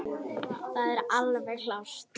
Það er alveg klárt.